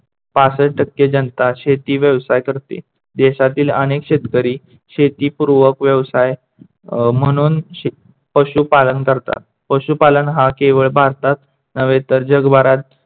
पासष्ठ टक्के जनता शेती व्यवसाय करतेे. देशातील अनेक शेतकरी शेती पूर्वक व्यवसाय म्हणून पशुपालन करतात. पशुपालन हा केवळ भारतात नव्हे तर जगभरात